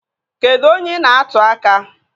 Kedụ onye ị na-atụ aka?